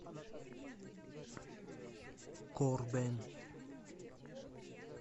корбен